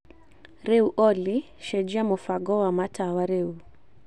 Rĩu Olly cenjia mũbango wa matawa rĩu